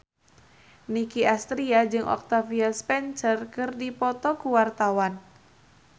Nicky Astria jeung Octavia Spencer keur dipoto ku wartawan